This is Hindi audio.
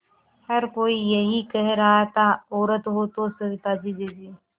हर कोई यही कह रहा था औरत हो तो सविताजी जैसी